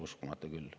Uskumatu küll.